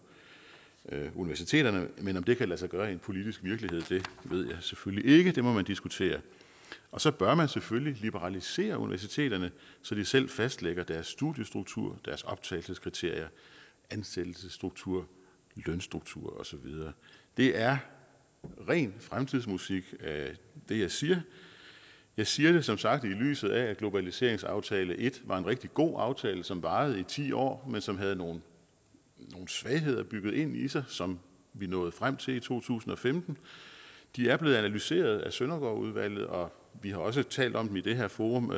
universiteterne men om det kan lade sig gøre i en politisk virkelighed ved jeg selvfølgelig ikke det må man diskutere og så bør man selvfølgelig liberalisere universiteterne så de selv fastlægger deres studiestruktur og deres optagelseskriterier ansættelsesstruktur lønstruktur og så videre det er ren fremtidsmusik det jeg siger jeg siger det som sagt i lyset af at globaliseringsaftale et var en rigtig god aftale som varede i ti år men som havde nogle svagheder bygget ind i sig som vi nåede frem til i to tusind og femten de er blevet analyseret af søndergaardudvalget og vi har også talt om dem i det her forum